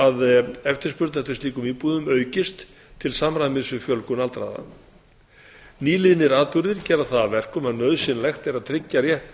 að eftirspurn eftir slíkum íbúðum aukist til samræmis við fjölgun aldraðra nýliðnir atburðir gera það að verkum að nauðsynlegt er að tryggja rétt